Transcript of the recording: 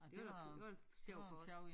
Det var det var sjovt